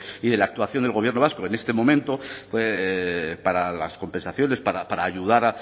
y de la actuación del gobierno vasco en este momento para las compensaciones para ayudar